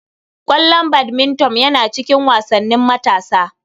Ƙwallon badminton yana cikin wasannin matasa.